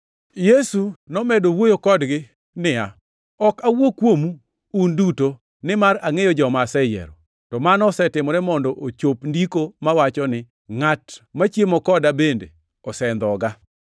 Yesu nomedo wuoyo kodgi niya, “Ok awuo kuomu un uduto, nimar angʼeyo joma aseyiero. To mano osetimore mondo ochop Ndiko mawacho ni, ‘Ngʼat machiemo koda bende osendhoga.’ + 13:18 \+xt Zab 41:9\+xt*